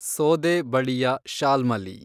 ಸೋದೆ ಬಳಿಯ ಶಾಲ್ಮಲಿ